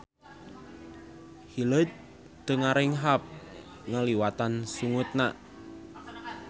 Hileud teu ngarenghap ngaliwatan sungutna.